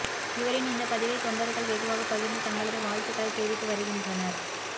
இவரின் இந்த பதிவை தொண்டர்கள் வெகுவாக பகிர்ந்து தங்களது வாழ்த்துக்களை தெரிவித்து வருகின்றனர்